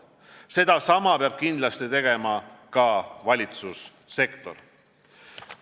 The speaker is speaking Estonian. Sedasama peab kindlasti tegema ka valitsussektor.